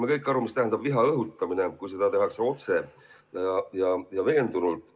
Me kõik saame aru, mida tähendab viha õhutamine, kui seda tehakse otse ja veendunult.